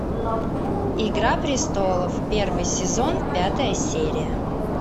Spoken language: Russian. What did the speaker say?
игра престолов первый сезон пятая серия